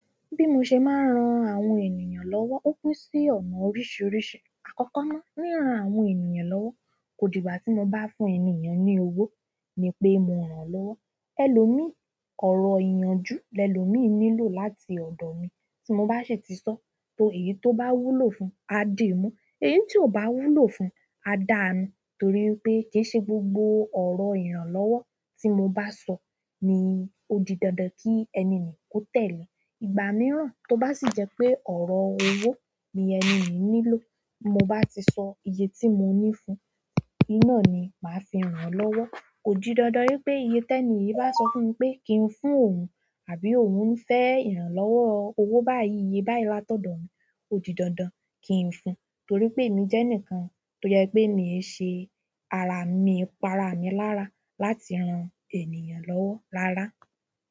Bí mo ṣe máa ń ran àwọn ènìyàn lọ́wọ́, ó pín sí ọ̀nà oríṣiríṣi. Àkọ́kọ́ ná, ríran àwọn ènìyàn lọ́wọ́, kò dìgbà tí mo bá fún ènì yen ní owó ni pé mo rán lọ́wọ́. Ẹlòmíì ọ̀rọ̀ ìyànjú lẹ lòmíì nílò láti ọ̀dọ̀ mi. Tí mo bá ṣe ti sọ, to èyí tó bá wúlò fún, á dìímú, èyí tí kò bá wúlò fún, á dáa nù. Torí wipé kì í ṣe gbogbo ọ̀rọ̀ ìrànlọ́wọ́ tí mo bá sọ ni ó di dandan kí ẹni yen kó tẹ̀lé. Ìgbà mìíràn tó bá sì jẹ́ pé ọ̀rọ̀ owó ni ẹni yen nílò, ti mo bá ti sọ iye tí mo ní fún, oun naá ni màá fi rán lọ́wọ́. Kò di dandan wípé iye tẹni yen bá sọ fún mi pé kí n fún òun, àbí òun ń fẹ́ ìrànlọ́wọ́ owó báyìí, iye báyìí látọ̀dọ̀ mi ó di dandan kí n fún, torí pé èmi jẹ́ ẹnìkan tó jẹ pé mi i iṣe ara mi, mi i pa ara mi lára láti ran ènìyàn lọ́wọ́ rára.